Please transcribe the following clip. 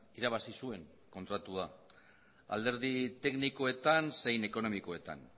irabazi zuen kontratua alderdi teknikoetan zein ekonomikoetan